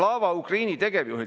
Aga nüüd siis 20 sekundit on veel.